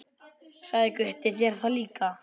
Sagði Gutti þér það líka?